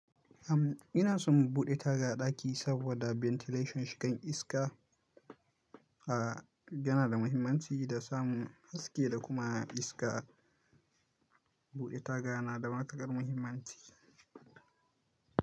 Am ina son buɗe taga a ɗaki saboda ventilation. Shigan iska a yana da muhimmanci da samun haske da kuma iska. Buɗe taga na da matukar muhimmanci.